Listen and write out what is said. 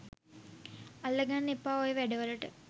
අල්ලගන්න එපා ඔය වැඩ වලට